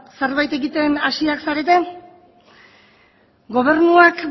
zerbait egiten hasiak zarete gobernuak